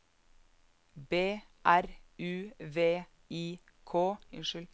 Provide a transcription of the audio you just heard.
B R U V I K